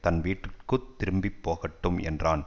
தன் வீட்டுக்கு திரும்பி போகட்டும் என்றான்